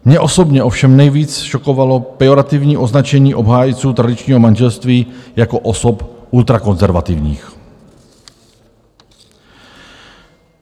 Mě osobně ovšem nejvíc šokovalo pejorativní označení obhájců tradičního manželství jako osob ultrakonzervativních.